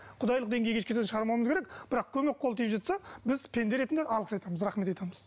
құдайлық деңгейге шығармауымыз керек бірақ көмек қолы тиіп жатса біз пенде ретінде алғыс айтамыз рахмет айтамыз